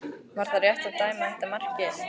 Var það rétt að dæma þetta mark gilt?